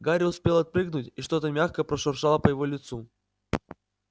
гарри успел отпрыгнуть и что-то мягкое прошуршало по его лицу